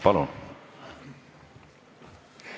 Palun!